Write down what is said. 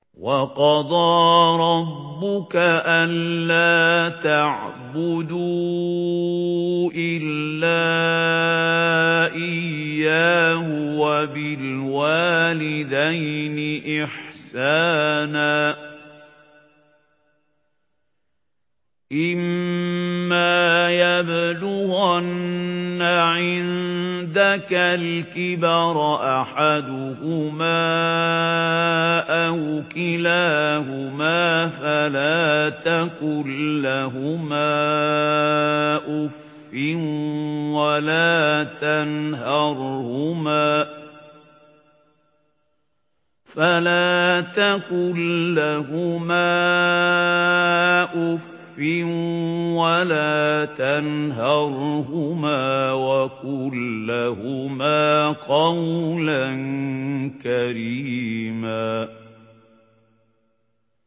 ۞ وَقَضَىٰ رَبُّكَ أَلَّا تَعْبُدُوا إِلَّا إِيَّاهُ وَبِالْوَالِدَيْنِ إِحْسَانًا ۚ إِمَّا يَبْلُغَنَّ عِندَكَ الْكِبَرَ أَحَدُهُمَا أَوْ كِلَاهُمَا فَلَا تَقُل لَّهُمَا أُفٍّ وَلَا تَنْهَرْهُمَا وَقُل لَّهُمَا قَوْلًا كَرِيمًا